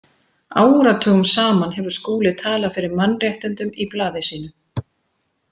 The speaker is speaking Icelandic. Áratugum saman hefur Skúli talað fyrir mannréttindum í blaði sínu.